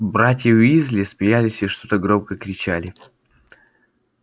братья уизли смеялись и что-то громко кричали